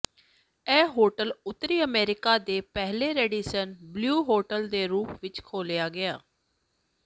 ਇਹ ਹੋਟਲ ਉੱਤਰੀ ਅਮਰੀਕਾ ਦੇ ਪਹਿਲੇ ਰੈਡੀਸਨ ਬਲੂ ਹੋਟਲ ਦੇ ਰੂਪ ਵਿੱਚ ਖੋਲ੍ਹਿਆ ਗਿਆ